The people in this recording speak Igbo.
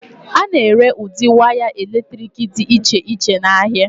A na-ere ụdị waya eletrik dị iche iche n'ahịa.